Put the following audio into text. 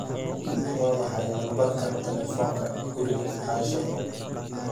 waa maxay lambarka taleefanka guriga asha